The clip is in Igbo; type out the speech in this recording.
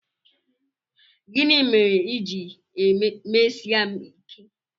Gịnị mere i ji mesie m ike?